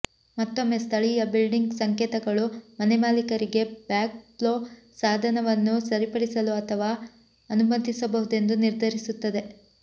ಮತ್ತೊಮ್ಮೆ ಸ್ಥಳೀಯ ಬಿಲ್ಡಿಂಗ್ ಸಂಕೇತಗಳು ಮನೆಮಾಲೀಕರಿಗೆ ಬ್ಯಾಕ್ ಫ್ಲೋ ಸಾಧನವನ್ನು ಸರಿಪಡಿಸಲು ಅಥವಾ ಅನುಮತಿಸಬಹುದೆಂದು ನಿರ್ಧರಿಸುತ್ತದೆ